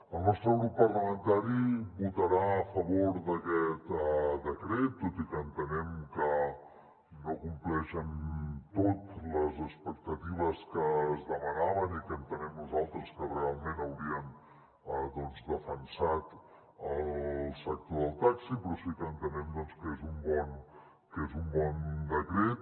el nostre grup parlamentari votarà a favor d’aquest decret tot i que entenem que no compleix en tot les expectatives que es demanaven i que entenem nosaltres que realment haurien defensat el sector del taxi però sí que entenem doncs que és un bon decret